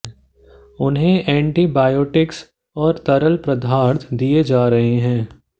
उन्हें एंटीबायोटिक्स और तरल पदार्थ दिए जा रहे हैं